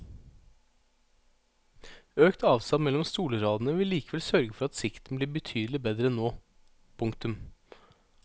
Økt avstand mellom stolradene vil likevel sørge for at sikten blir betydelig bedre enn nå. punktum